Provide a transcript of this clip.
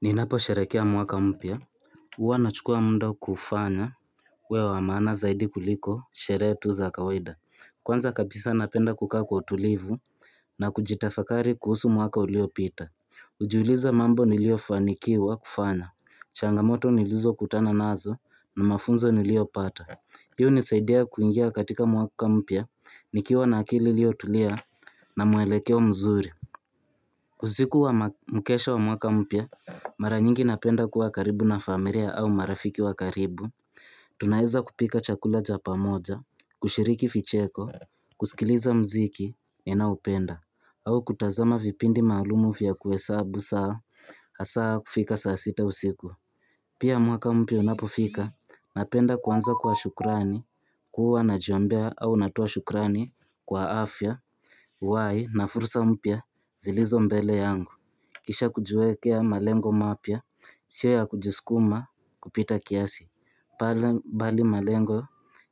Ninapo sharehekea mwaka mpya, uwa na chukua muda kuufanya, uwe wa maana zaidi kuliko, sherehe tu za kawaida. Kwanza kabisa napenda kukaa kwa tulivu na kujitafakari kuhusu mwaka ulio pita. Ujuliza mambo nilio fanikiwa kufanya, changamoto nilizo kutana nazo na mafunzo nilio pata. Hii hunisaidia kuingia katika mwaka mpya, nikiwa na akili ilio tulia na muelekeo mzuri. Usiku wa mkesha wa mwaka mpya, mara nyingi napenda kuwa karibu na familia au marafiki wa karibu. Tunaeza kupika chakula cha pamoja, kushiriki ficheko, kusikiliza mziki, ninao penda, au kutazama vipindi maalumu fya kuhesabu saa, hasaa kufika saa sita usiku. Pia mwaka mpya unapofika, napenda kuanza kwa shukrani, kuwa najiombea au natoa shukrani kwa afya, ihai na fursa mpya zilizo mbele yangu. Kisha kujiwekea malengo mapya, sio ya kujiskuma kupita kiasi. Bali malengo